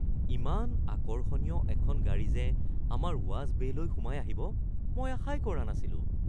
ইমান আকৰ্ষণীয় এখন গাড়ী যে আমাৰ ৱাচ বে’লৈ সোমাই আহিব, মই আশাই কৰা নাছিলোঁ।